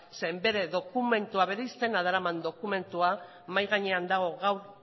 zeren bere dokumentua bere izena daraman dokumentua mahai gainean dago gaur